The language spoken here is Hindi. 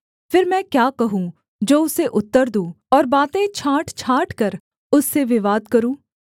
फिर मैं क्या हूँ जो उसे उत्तर दूँ और बातें छाँट छाँटकर उससे विवाद करूँ